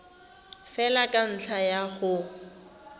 fela ka ntlha ya go